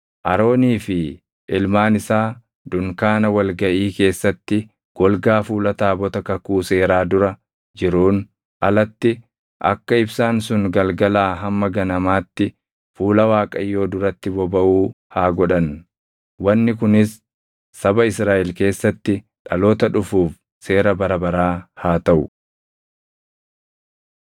Aroonii fi ilmaan isaa dunkaana wal gaʼii keessatti golgaa fuula taabota kakuu seeraa dura jiruun alatti akka ibsaan sun galgalaa hamma ganamaatti fuula Waaqayyoo duratti bobaʼuu haa godhan. Wanni kunis saba Israaʼel keessatti dhaloota dhufuuf seera bara baraa haa taʼu.